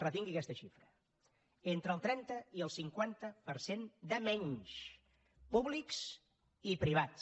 retingui aquesta xifra entre el trenta i el cinquanta per cent de menys públics i privats